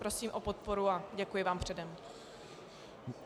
Prosím o podporu a děkuji vám předem.